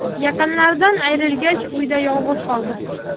Yaqinlaridan ayrilgach, uyda yolg‘iz qoldi.